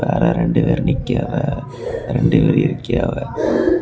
அதுல ரெண்டு பேர் நிக்கிறாவ ரெண்டு பேர் இரிகியாவ.